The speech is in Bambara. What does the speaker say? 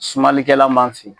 Sumalikɛlan b'an fe yen